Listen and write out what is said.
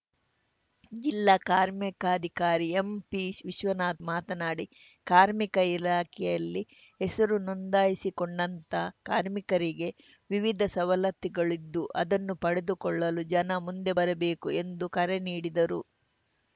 ಜಿಲ್ಲಾ ಕಾರ್ಮಿಕಾಧಿಕಾರಿ ಎಂಪಿ ವಿಶ್ವನಾಥ್‌ ಮಾತನಾಡಿ ಕಾರ್ಮಿಕ ಇಲಾಖೆಯಲ್ಲಿ ಹೆಸರು ನೊಂದಾಯಿಸಿಕೊಂಡಂತಹ ಕಾರ್ಮಿಕರಿಗೆ ವಿವಿಧ ಸವಲತ್ತುಗಳಿದ್ದು ಅದನ್ನು ಪಡೆದುಕೊಳ್ಳಲು ಜನ ಮುಂದೆ ಬರಬೇಕು ಎಂದು ಕರೆ ನೀಡಿದರು